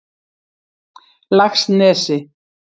Laxnesi